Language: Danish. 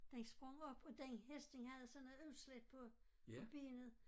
Den sprang op og den hest den havde sådan noget udslæt på på benet